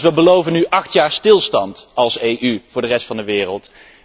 Wij beloven nu dus acht jaar stilstand als EU voor de rest van de wereld.